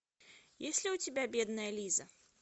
есть ли у тебя бедная лиза